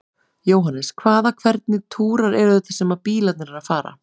Jóhannes: Hvaða, hvernig túrar eru þetta sem að bílarnir eru að fara?